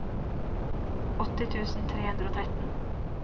åtti tusen tre hundre og tretten